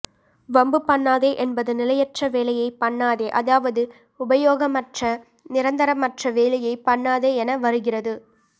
வம்பு பண்ணாதே என்பது நிலையற்ற வேலையைப் பண்ணாதே அதாவது உபயோகமற்றநிரந்தரமற்ற வேலையைப் பண்ணாதே என வருகிறது